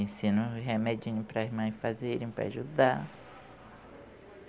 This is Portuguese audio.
Ensino remedinho para as mães fazerem, para ajudar.